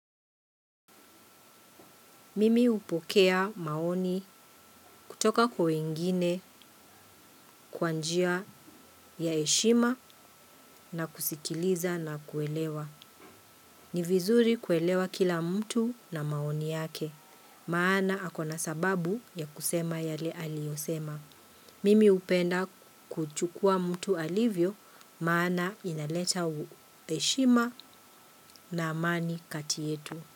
Mimi hupokea maoni kutoka kwa wengine kwa njia ya heshima na kusikiliza na kuelewa. Ni vizuri kuelewa kila mtu na maoni yake. Maana ako na sababu ya kusema yale aliyosema. Mimi hupenda kuchukua mtu alivyo maana inaleta heshima na amani kati yetu.